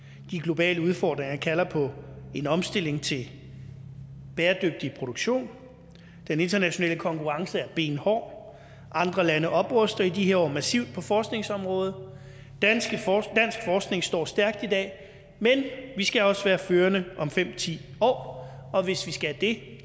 de globale udfordringer kalder på en omstilling til bæredygtig produktion den internationale konkurrence er benhård andre lande opruster i de her år massivt på forskningsområdet dansk forskning står stærkt i dag men vi skal også være førende om fem ti år og hvis vi skal det